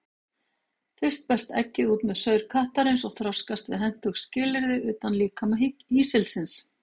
Fyrst berst eggið út með saur kattarins og þroskast við hentug skilyrði utan líkama hýsilsins.